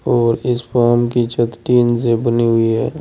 और इस फॉर्म की छत टीन से बनी हुई है।